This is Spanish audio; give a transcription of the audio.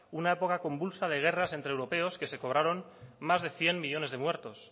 una época convulsa de guerras entre europeos que se cobraron más de cien millónes de muertos